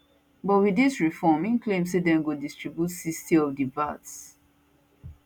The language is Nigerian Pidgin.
but wit dis reform im claim say dem go distribute 60 of di vat